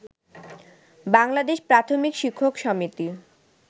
বাংলাদেশ প্রাথমিক শিক্ষক সমিতি